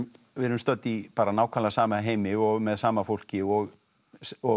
við erum stödd í nákvæmlega sama heimi og með sama fólki og og í